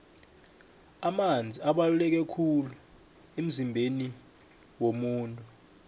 amanzi abaluleke khulu emzimbeni womuntu